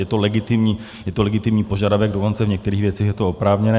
Je to legitimní požadavek, dokonce v některých věcech je to oprávněné.